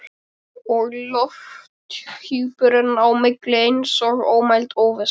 Og lofthjúpurinn á milli eins og ómæld óvissa.